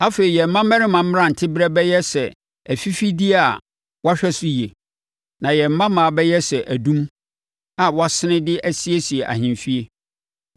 Afei yɛn mmammarima mmeranteberɛ bɛyɛ sɛ afifideɛ a wɔahwɛ so yie, na yɛn mmammaa bɛyɛ sɛ adum a wɔasene de asiesie ahemfie.